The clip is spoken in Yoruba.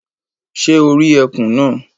Sé o rí ekùn náà